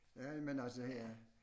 Ja men altså her